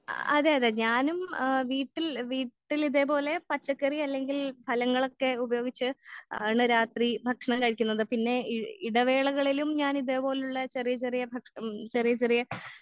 ആ അതെ അതെ ഞാനും ആ വീട്ടിൽ വീട്ടിൽ ഇതേപോലെ പച്ചക്കറി അല്ലെങ്കിൽ ഫലങ്ങോളൊക്കെ ഉപയോഗിച്ച്‌ ആളെ രാത്രി ഭക്ഷണം കഴിക്കുന്നത് പിന്നെ ഇ ഇടവേളകളിലും ഞാൻ ഇതേപോലുള്ള ചെറിയ ചെറിയ ഭക്ഷ ഉം ചെറിയ ചെറിയ